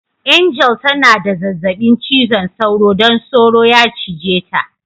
Angel ta na da zazzabi cizon soro don soro ya cije ta.